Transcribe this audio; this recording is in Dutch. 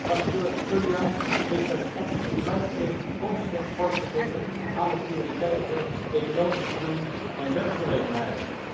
Rapporteur Surján heeft met zijn opstelling blijk gegeven consistent vorm te geven aan de prioriteiten economische groei en werkgelegenheid.